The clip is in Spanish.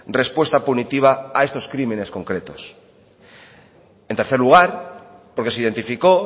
respuesta punitiva a estos crímenes concretos en tercer lugar porque se identificó